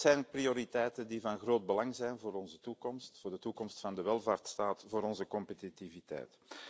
Dat zijn prioriteiten die van groot belang zijn voor onze toekomst, voor de toekomst van de welvaartsstaat, voor onze competitiviteit.